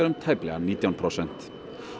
um tæplega nítján prósent